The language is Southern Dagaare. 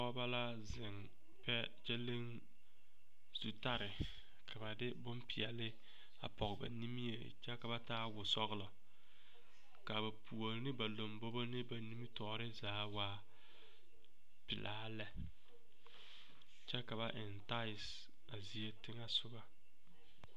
Pɔgeba la zeŋ kyɛ leŋ zutare ka ba de bompeɛle a pɔge ba nimie kyɛ ka ba taa wɔsɔglɔ ka ba puori ne ba lombobo ne ba nimitɔɔre zaa waa pelaa lɛ kyɛ ka ba eŋ tasseis a zie teŋɛ soga.